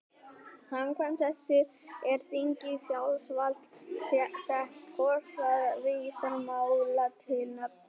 Samkvæmt þessu er þingi í sjálfsvald sett hvort það vísar máli til nefndar.